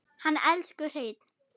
Hann elsku Hreinn.